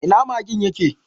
Ina magen ya ke?